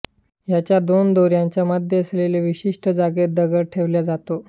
याच्या दोन दोऱ्यांच्या मध्ये असलेल्या विशिष्ट जागेत दगड ठेवल्या जातो